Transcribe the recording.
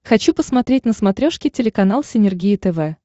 хочу посмотреть на смотрешке телеканал синергия тв